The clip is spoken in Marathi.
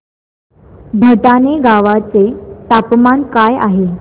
भटाणे गावाचे तापमान काय आहे